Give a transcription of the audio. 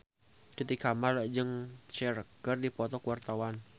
Titi Kamal jeung Cher keur dipoto ku wartawan